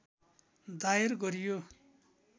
दायर गरियो